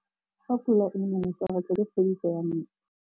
Fa pula e nelê serêtsê ke phêdisô ya metsi.